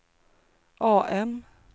AM